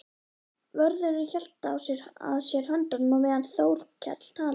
Vörðurinn hélt að sér höndum á meðan Þórkell talaði.